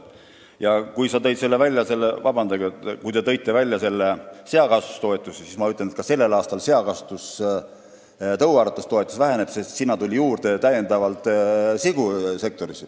Ja kuna te tõite juba välja seakasvatuse, siis ma ütlen, et sellel aastal väheneb seal ka tõuaretustoetus, sest sigu tuli sektorisse juurde.